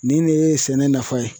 Nin de ye sɛnɛ nafa ye.